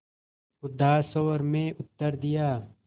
उदास स्वर में उत्तर दिया